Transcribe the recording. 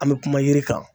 An bɛ kuma yiri kan